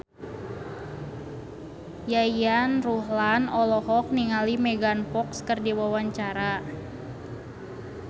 Yayan Ruhlan olohok ningali Megan Fox keur diwawancara